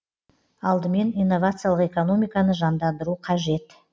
алдымен инновациялық экономиканы жандандыру қажет